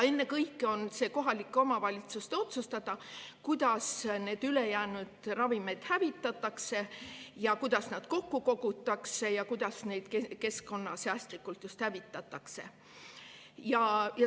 Ennekõike on see kohalike omavalitsuste otsustada, kuidas need ülejäänud ravimid hävitatakse, kuidas nad kokku kogutakse ja kuidas neid keskkonnasäästlikult hävitatakse.